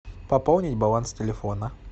пополнить баланс телефона